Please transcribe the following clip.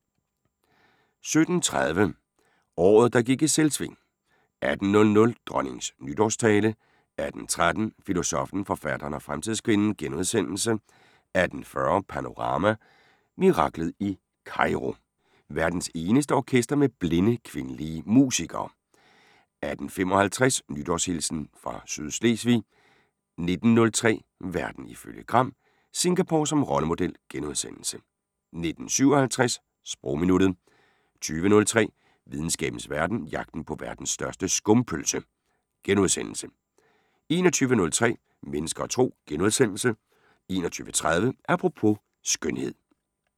17:30: Året der gik i Selvsving 18:00: Dronningens nytårstale 18:13: Filosoffen, forfatteren og fremtidskvinden * 18:40: Panorama: Miraklet i Kairo – verdens eneste orkester med blinde kvindelige musikere 18:55: Nytårshilsen fra Sydslesvig 19:03: Verden ifølge Gram: Singapore som rollemodel * 19:57: Sprogminuttet 20:03: Videnskabens Verden: Jagten på verdens største skumpølse * 21:03: Mennesker og Tro * 21:30: Apropos - skønhed *